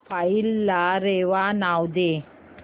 file ला रेवा नाव दे